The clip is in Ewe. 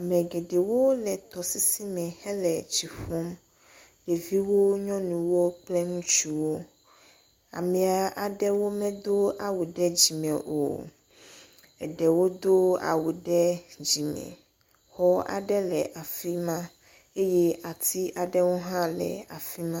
Ame geɖewo le tɔsisi me le tɔsisi me hele tsi ƒum. Ɖeviwo. Nyɔnuwo kple ŋutsuwo. Amea aɖewo medo awu ɖe dzime o. Eɖewo do awu ɖe dzime. Xɔ aɖe le afi ma eye ati aɖewo hã le afi ma.